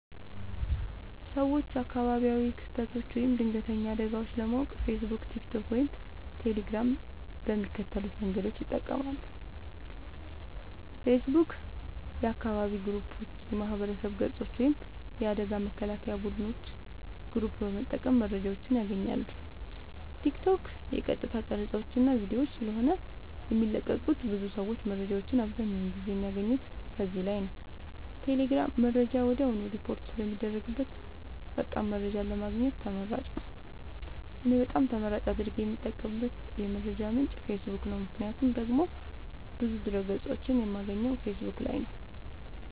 ሰወች አካባቢያዊ ክስተቶች ወይም ድንገተኛ አደጋወች ለማወቅ ፌሰቡክ ቲክቶክ ወይም ቴሌግራም በሚከተሉት መንገዶች ይጠቀማሉ ፌሰቡክ :- የአካባቢ ግሩፖች የማህበረሰብ ገፆች ወይም የአደጋ መከላከያ ቡድኖች ግሩፕ በመጠቀም መረጃወችን ያገኛሉ ቲክቶክ :- የቀጥታ ቀረፃወች እና ቪዲዮወች ስለሆነ የሚለቀቁበት ብዙ ሰወች መረጃወችን አብዛኛውን ጊዜ የሚያገኙት ከዚህ ላይ ነዉ ቴሌግራም :-መረጃ ወድያውኑ ሪፖርት ስለሚደረግበት ፈጣን መረጃን ለማግኘት ተመራጭ ነዉ። እኔ በጣም ተመራጭ አድርጌ የምጠቀምበት የመረጃ ምንጭ ፌሰቡክ ነዉ ምክንያቱም ደግሞ ብዙ ድህረ ገፆችን የማገኘው ፌሰቡክ ላይ ነዉ